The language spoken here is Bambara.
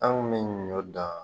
An kun me ɲɔ dan